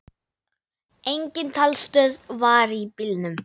Engin talstöð var í bílnum.